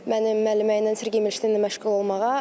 Mənim müəllimə ilə Sergey Milşteynlə məşğul olmağa.